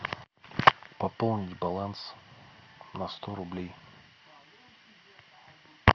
пополни баланс на сто рублей